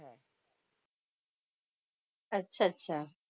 अच्छा अच्छा.